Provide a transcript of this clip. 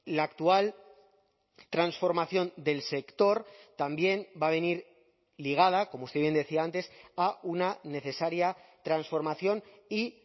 la actual transformación del sector también va a venir ligada como usted bien decía antes a una necesaria transformación y